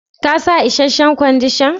Ka sa isheshen Kwandishan?